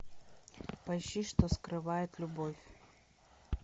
поищи что скрывает любовь